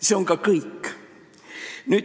See on ka kõik.